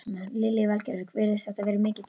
Lillý Valgerður: Virðist þetta vera mikið tjón?